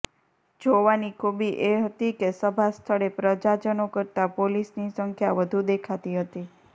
જોવાની ખૂબી એ હતી કે સભાસ્થળે પ્રજાજનો કરતા પોલીસની સંખ્યા વધુ દેખાતી હતી